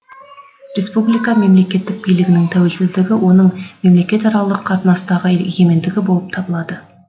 республика мемлекеттік билігінің тәуелсіздігі оның мемлекетаралық қатынастағы егемендігі болып табылады